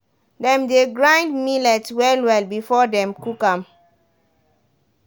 dem dey grind millet well-well before dem cook am.